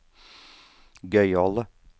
gøyale